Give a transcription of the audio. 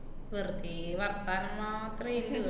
വെറുതേ വർത്താനം മാത്രേ ~ല്ലൂ